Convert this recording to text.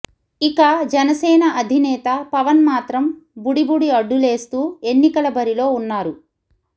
ఇక జనసేన అధినేత పవన్ మాత్రం బుడిబుడి అడ్డులేస్తూ ఎన్నికల బరిలో ఉన్నారు